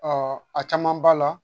a caman b'a la